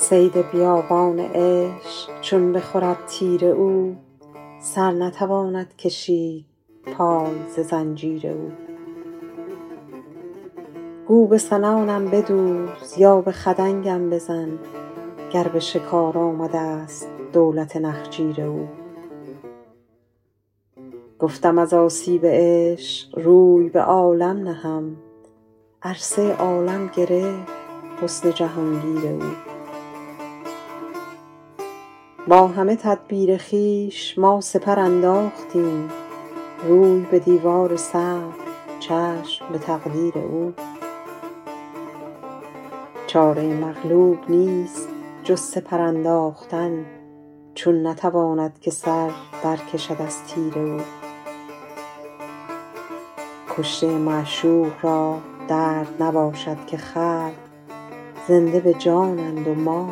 صید بیابان عشق چون بخورد تیر او سر نتواند کشید پای ز زنجیر او گو به سنانم بدوز یا به خدنگم بزن گر به شکار آمده ست دولت نخجیر او گفتم از آسیب عشق روی به عالم نهم عرصه عالم گرفت حسن جهان گیر او با همه تدبیر خویش ما سپر انداختیم روی به دیوار صبر چشم به تقدیر او چاره مغلوب نیست جز سپر انداختن چون نتواند که سر در کشد از تیر او کشته معشوق را درد نباشد که خلق زنده به جانند و ما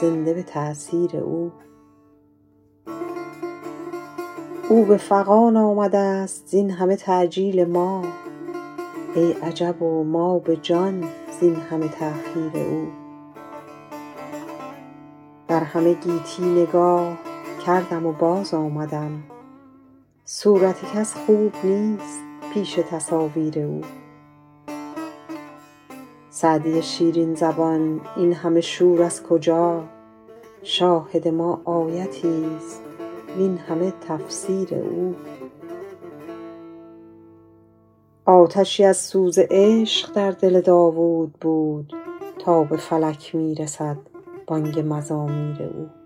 زنده به تأثیر او او به فغان آمده ست زین همه تعجیل ما ای عجب و ما به جان زین همه تأخیر او در همه گیتی نگاه کردم و باز آمدم صورت کس خوب نیست پیش تصاویر او سعدی شیرین زبان این همه شور از کجا شاهد ما آیتی ست وین همه تفسیر او آتشی از سوز عشق در دل داوود بود تا به فلک می رسد بانگ مزامیر او